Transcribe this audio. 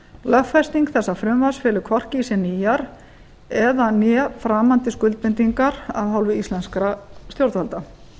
lögfesting þessa frumvarps felur hvorki í sér nýjar eða né framandi skuldbindingar af hálfu íslenskra stjórnvalda